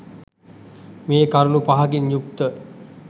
මේ කරුණු පහකින් යුක්ත